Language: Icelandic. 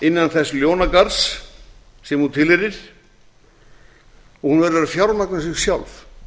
innan þess ljónagarðs sem hún tilheyrir og hún verður að fjármagna sig sjálf